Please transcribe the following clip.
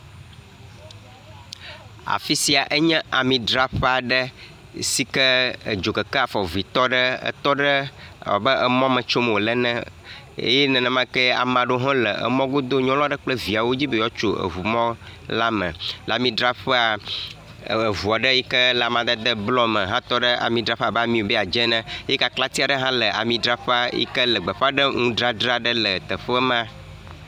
Afi sia enye ami dzraƒe aɖe si ke dzokeke afɔvɛtɔ tɔ ɖe wobe emɔ me tsom wole ene eye nenemake ame ɖo ha le mɔ godo, nyɔnua ɖe kple viawo dzi be yewoa tso eŋu mɔ la me, le ami dzraƒea, eŋu aɖe yi ke amadede blɔ me hã tɔ ɖe ami dzraƒea abe ami wobe ya dze ene, ye kaklatsi aɖe hã le ami dzraƒea yi ke le gbefã nudzadzra le afi ma